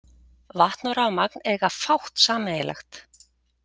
Vatn og rafmagn eiga fátt sameiginlegt.